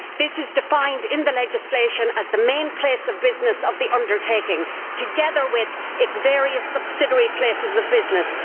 This is defined in the legislation as the main place of business of the undertaking, together with its various subsidiary places of business.